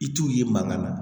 I t'u ye mankan na